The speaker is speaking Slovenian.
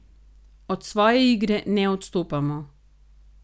Od svoje igre ne odstopamo.